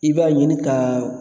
I b'a ɲini k'a